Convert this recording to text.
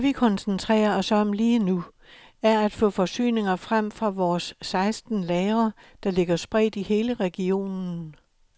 Det vi koncentrerer os om lige nu, er at få forsyninger frem fra vores seksten lagre, der ligger spredt i hele regionen.